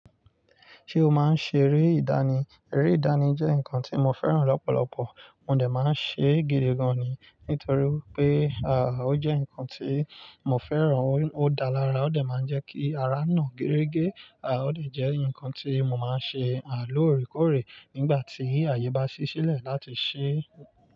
Ṣé o máa ń ṣe eré ìdánì? Eré ìdánì jẹ́ nǹkan tí mo fẹ́ràn lọ́pọ̀lọpọ̀. Mo dà máa ń ṣe gidi gan-an ni. Nítorí pé, à, ó jẹ́ nǹkan tí mo fẹ́ràn, ó dáa lára, ó dà máa ń jẹ́ kí ara na gere ge. À, ó de jẹ́ nǹkan tí mo máa ń ṣe, à, lóòrèkóòrè nígbà tí àyè bá ṣí sílẹ̀ láti ṣe.